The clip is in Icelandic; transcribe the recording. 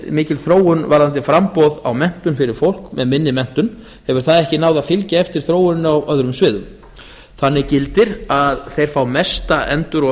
mikil þróun varðandi framboð á menntun fyrir fólk með minni menntun hefur það ekki náð að fylgja eftir þróuninni á öðrum sviðum þannig gildir að þeir fá mesta endur og